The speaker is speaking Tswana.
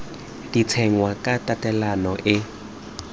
di tsenngwa ka tatelano e